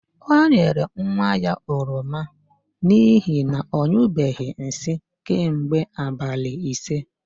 O nyere nwa ya oroma n'ihi na ọ nyụbeghị nsị kemgbe abalị ise.